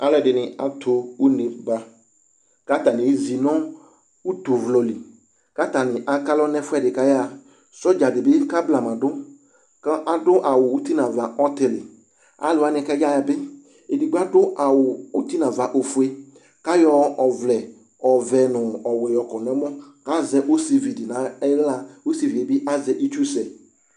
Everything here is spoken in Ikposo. Aalʋɛɖini atʋ ʋne' baK'atamiezi nʋ utʋvlɔli k'atami atlɔɖʋ n'ɛfuɛɖi k'ayahaSɔdzaɖibi k'ablamaɖʋ k'aɖʋ awu ʋti n'ava ɔtiliaalʋwa k'ayaɣabi, eɖigbo aɖʋ awu ŋti n'ava ofue k'ayɔ ɔvlɛ ɔvɛ nʋ ɔwuɛ yɔkɔ n'ɛmɔ Azɛ osiviɖi nʋ iɣlaosivɛ azɛ itsusɛ